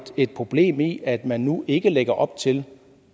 et problem i at man nu ikke lægger op til